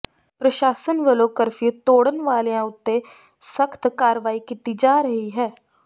ਪ੍ਰਸ਼ਾਸਨ ਵੱਲੋਂ ਕਰਫਿਊ ਤੋੜਨ ਵਾਲਿਆ ਉਤੇ ਸਖਤ ਕਾਰਵਾਈ ਕੀਤੀ ਜਾ ਰਹੀ ਹੈ